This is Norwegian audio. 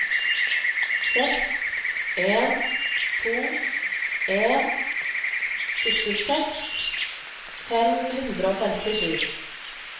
seks en to en syttiseks fem hundre og femtisju